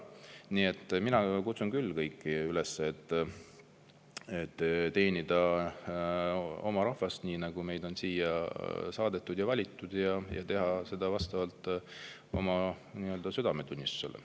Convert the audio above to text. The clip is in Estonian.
Nii et mina kutsun küll kõiki üles teenima oma rahvast – on meid siia saadetud ja valitud – ja tegema seda vastavalt oma südametunnistusele.